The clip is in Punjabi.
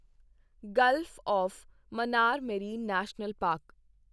Gulf of Mannar marine national park